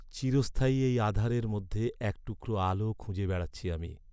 চিরস্থায়ী এই আঁধারের মধ্যে এক টুকরো আলো খুঁজে বেড়াচ্ছি আমি।